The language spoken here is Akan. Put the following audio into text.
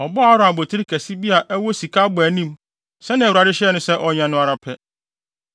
Ɔbɔɔ Aaron abotiri kɛse bi a ɛwɔ sika abɔanim sɛnea Awurade hyɛɛ no sɛ ɔnyɛ no ara pɛ.